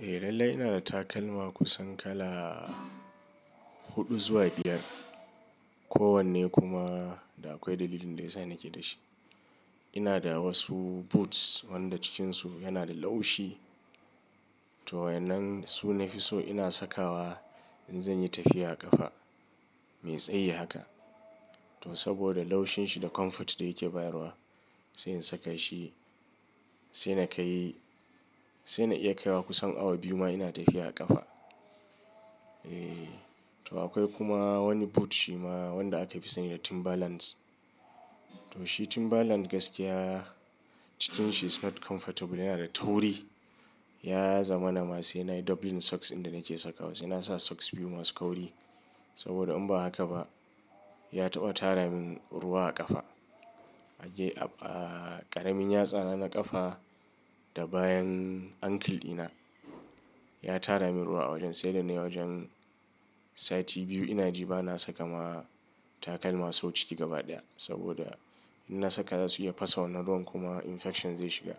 Eh lallai ina da takalma kusan kala huɗu zuwa biyar. Ko wanne kuma da akwai dalilin da ya sa nake da shi. Ina da wasu boots wanda cikinsu yana da laushi. To waɗannan su nafi so ina saka wa in zan yi tafiya a ƙafa. Me tsayi haka? To saboda laushin shi da comfort da yake bayarwa sai in saka shi sai na kai, sai na iya kaiwa kusan awa biyu ma ina tafiya a ƙafa. Eh, to akwai kuma wani boot shi ma wanda aka fi sani da Timberland. To shi Timberland gaskiya cikinsa is not comfortable yana da tauri. Ya zamanana sai na yi doubling socks inda nake sakawa. Sai na sa socks biyu masu kauri saboda in ba haka ba ya taɓa tara min ruwa a ƙafa. A je a ƙaramin yatsana na ƙafa da bayan ankle ɗina. Ya tara min ruwa a wajen sai da na yi wajen sati biyu ina ji ba na saka ma takalma sau ciki gaba ɗaya saboda in na saka za su iya fasa wannan ruwan kuma infection zai shiga.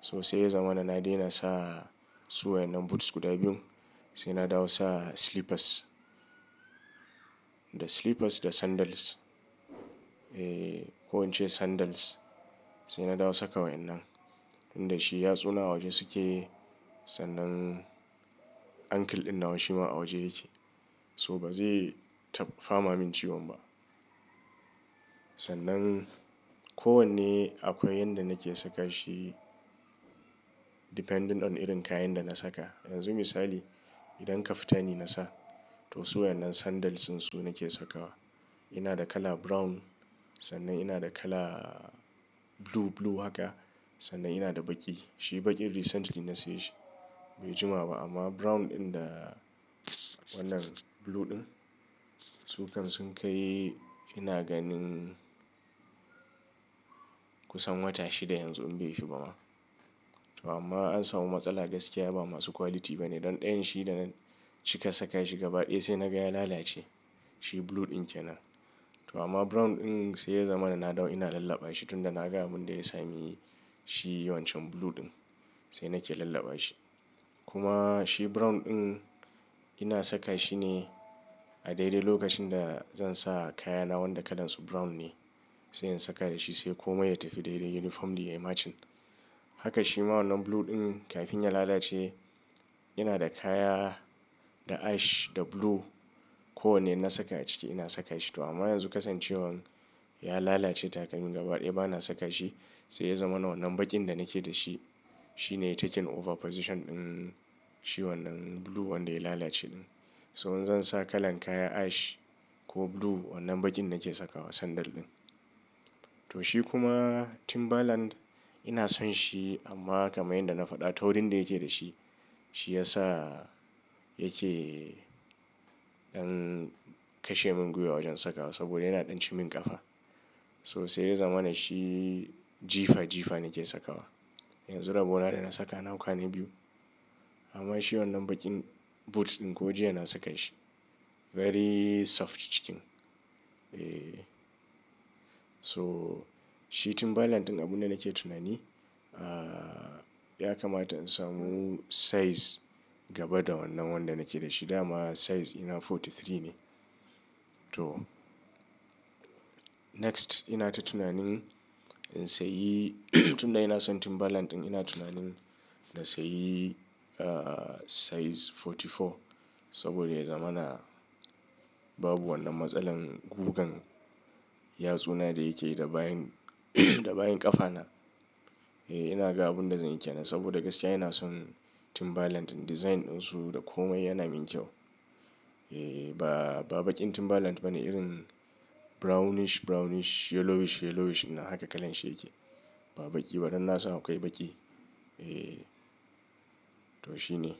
So sai ya zamanana na daina sa su wannan boots guda biyun sai na dawo sa slippers. The slippers da sandals. Eh ko ince sandals sai na dawo saka wa innan. Inda shi yatsuna a waje suke sannan ankle ɗin na wa shi ma a waje yake. So ba zai fama min ciwon ba. Sannan kowanne akwai yanda nake saka shi depending on irin kayan da na saka. Yanzu misali idan kaftani na sa to su wannan sandals insu nake sakawa. Ina da kala brown sannan ina da kala blue blue haka sannan ina da baƙi. Shi baƙin recently na saye shi. Bai jima ba amma brown ɗin da wannan blue ɗin su kam sun kai ina ganin kusan wata shida yanzu in bai fi ba ma. To amma an samu matsala gaskiya ba masu quality ba ne. Dan ɗayan shi da cika saka shi gaba ɗaya sai na ga ya lalace. Shi blue ɗin kenan. To amma brown ɗin sai ya zamanana na dawo ina lallaba shi tun da na ga abun da ya sami shi wancan blue ɗin sai nake lallaba shi. Kuma shi brown ɗin ina saka shi ne a daidai lokacin da zan sa kayana wanda kalansu brown ne. Sai in saka da shi sai komai ya tafi daidai uniform dai matching. Haka shi ma wannan blue ɗin kafin ya lalace ina da kaya da ash da blue ko wanne inna saka a ciki ina saka shi. To amma yanzu kasancewan ya lalace takalmin gaba ɗaya ba na saka shi sai ya zamanana wannan baƙin da nake da shi shi ne yake taking over position ɗin shi wannan blue wanda ya lalace ɗin. So in zan sa kalan kaya ash ko blue wannan baƙin nake sakawa sandal ɗin. To shi kuma Timberland ina son shi amma kamar yadda na faɗa taurin da yake da shi shi ya sa yake ɗan kashe mun gwiwa wajen saka wa saboda yana ɗan cim min ƙafa. So sai ya zamanana shi jifa jifa nake sakawa. Yanzu rabo na da na saka a nakwa na biyu. Amma shi wannan baƙin boot ɗin ko jiya na saka shi. Very soft cikin. Eh. So shi Timberland ɗin abun da nake tunani ah ya kamata in samu size gaba da wannan wanda nake da shi dama size ina forty three ne. To next ina ta tunanin in sayi tun da ina son Timberland ɗin ina tunanin na sayi ah size forty four saboda ya zamanana babu wannan matsalar gugan yatsuna da yake yi da bayan da bayan ƙafa na. Eh ina ga abun da zan iya na saboda gaskiya ina son Timberland ɗin design ɗinsu da komai yana min kyau. Eh ba baƙin Timberland ba ne irin brownish brownish yellowish yellowish in nan haka kalan shi yake. Ba baƙi ba dan na san akwai baƙi. Eh. To shi ne.